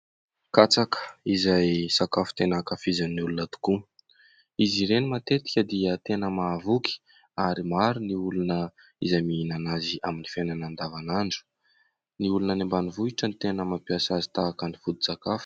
Katsaka izay sakafo tena ankafizin'ny olona tokoa. Izy ireny matetika dia tena mahavoky ary maro ny olona izay mihinana azy amin'ny fiainana andavan'andro. Ny olona any ambanivohitra no tena mampiasa azy tahaka ny foto-sakafo.